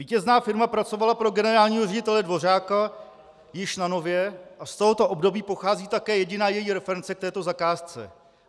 Vítězná firma pracovala pro generálního ředitele Dvořáka již na Nově a z tohoto období pochází také jediná její reference k této zakázce.